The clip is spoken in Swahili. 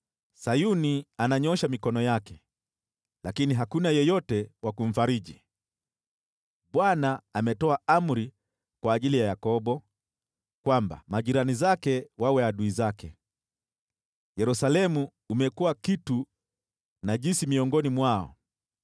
Sayuni ananyoosha mikono yake, lakini hakuna yeyote wa kumfariji. Bwana ametoa amri kwa ajili ya Yakobo kwamba majirani zake wawe adui zake; Yerusalemu umekuwa kitu najisi miongoni mwao.